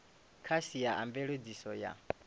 kha sia a mveledziso ya